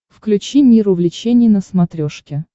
включи мир увлечений на смотрешке